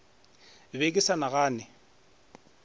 ke be ke sa nagane